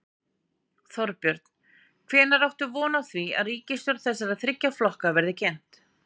Þorbjörn: Hvenær áttu von á því að ríkisstjórn þessara þriggja flokka verði kynnt?